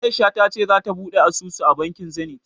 A'isha ta ce zata buɗe asusu a bankin Zenith.